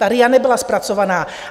Ta RIA nebyla zpracovaná.